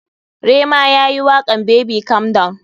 Rema yayi wakan [baby calm down].